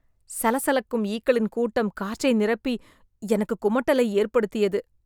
சலசலக்கும் ஈக்களின் கூட்டம் காற்றை நிரப்பி, எனக்கு குமட்டலை ஏற்படுத்தியது.